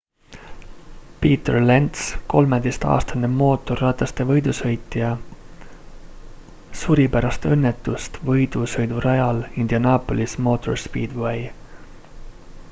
peter lenz 13-aastane mootorrataste võidusõitja suri pärast õnnetust võidusõidurajal indianopolis motor speedway